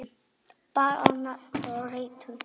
Hún bar nafn með rentu.